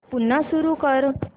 पुन्हा सुरू कर